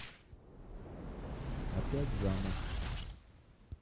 опять замуж